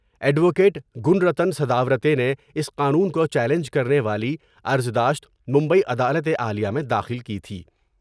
Advocate Gunratan Sadavarte نے اس قانون کو چیلنج کرنے والی عرضداشت مبئی عدالت عالیہ میں داخل کی تھی ۔